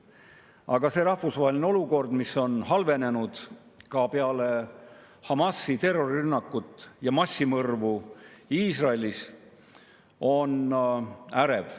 Aga rahvusvaheline olukord, mis on halvenenud ka peale Hamasi terrorirünnakut ja massimõrvu Iisraelis, on ärev.